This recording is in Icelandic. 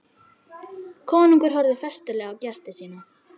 Konungur horfði festulega á gesti sína.